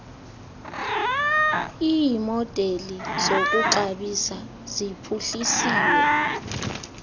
iimodeli zokuxabisa ziphuhlisiwe